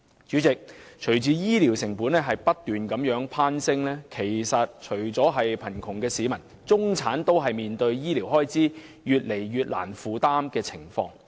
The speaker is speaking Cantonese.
主席，隨着醫療成本不斷攀升，除了貧窮的市民外，中產也越來越難以負擔沈重的醫療開支。